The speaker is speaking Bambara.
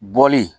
Bɔli